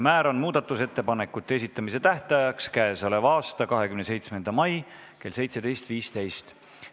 Määran muudatusettepanekute esitamise tähtajaks k.a 27. mai kell 17.15.